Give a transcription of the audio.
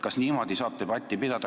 Kas niimoodi saab debatti pidada?